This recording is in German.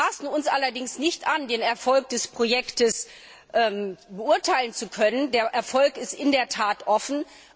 Wir maßen uns allerdings nicht an, den Erfolg des Projektes beurteilen zu können. Der Erfolg ist in der Tat offen.